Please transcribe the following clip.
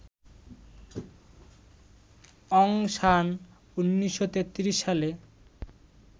অং San ১৯৩৩ সালে